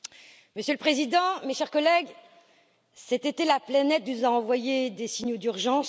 Monsieur le Président, mes chers collègues, cet été, la planète nous a envoyé des signaux d'urgence.